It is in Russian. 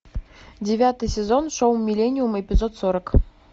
девятый сезон шоу миллениум эпизод сорок